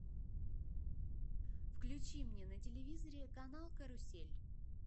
включи мне на телевизоре канал карусель